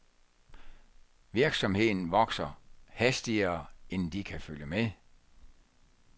Virksomheden vokser hastigere end de kan følge med.